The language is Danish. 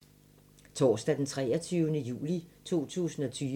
Torsdag d. 23. juli 2020